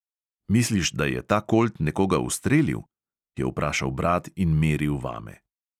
"Misliš, da je ta kolt nekoga ustrelil?" je vprašal brat in meril vame.